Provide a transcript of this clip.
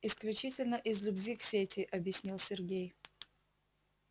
исключительно из любви к сети объяснил сергей